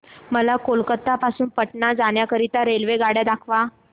मला कोलकता पासून पटणा जाण्या करीता रेल्वेगाड्या दाखवा